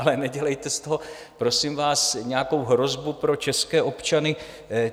Ale nedělejte z toho, prosím vás, nějakou hrozbu pro české občany.